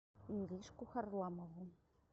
иришку харламову